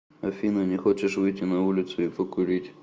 афина не хочешь выйти на улицу и покурить